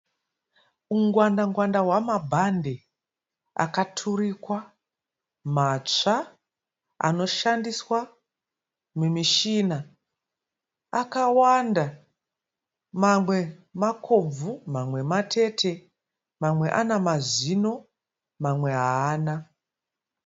Ungwanda ngwanda hwemabhande akaturikwa matsva anoshandiswa mumishina akawanda mamwe makobvu mamwe matete mamwe ane mazino mamwe haana.